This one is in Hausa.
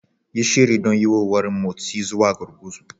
Yi shiri don yuwuwar motsi zuwa gurguzu.